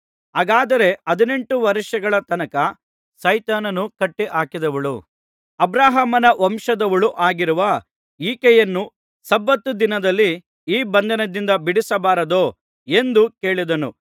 ಹಾಗಾದರೆ ಹದಿನೆಂಟು ವರ್ಷಗಳ ತನಕ ಸೈತಾನನು ಕಟ್ಟಿ ಹಾಕಿದ್ದವಳೂ ಅಬ್ರಹಾಮನ ವಂಶದವಳೂ ಆಗಿರುವ ಈಕೆಯನ್ನು ಸಬ್ಬತ್ ದಿನದಲ್ಲಿ ಈ ಬಂಧನದಿಂದ ಬಿಡಿಸಬಾರದೋ ಎಂದು ಕೇಳಿದನು